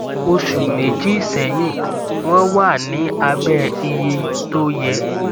oṣù méjì sẹyìn wọn wà ní abẹ iye tó yẹ